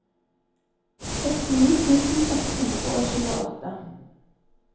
sekstini tusen ett hundre og tjueåtte